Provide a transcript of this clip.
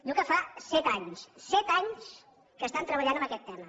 diu que fa set anys set anys que estan treballant en aquest tema